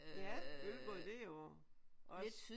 Ja Ølgod det er jo også